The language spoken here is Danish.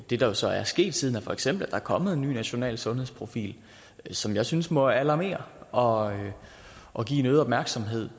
det der jo så er sket siden for eksempel er kommet en ny national sundhedsprofil som jeg synes må alarmere og og give en øget opmærksomhed